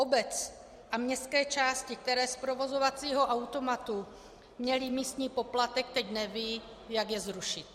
Obec a městské části, které z provozovacího automatu měly místní poplatek, teď nevědí, jak je zrušit.